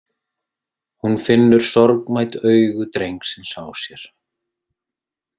Hún finnur sorgmædd augu drengsins á sér.